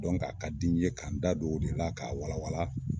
a ka di n ye ka, n da don o de la k'a wala wala